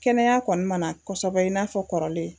Kɛnɛya kɔni mana kosɛbɛ in n'a fɔ kɔrɔlen